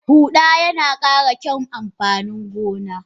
Huda yina kara kyaun amfanin gona.